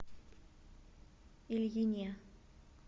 ильине